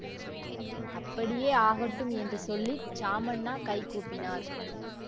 அப்படியே ஆகட்டும் என்று சொல்லி சாமண்ணா கை கூப்பினார்